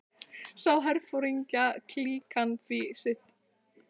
Sá herforingjaklíkan því sitt óvænna og varð fyrri til, sagði